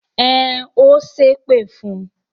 Ẹn, ó ṣépè fún un.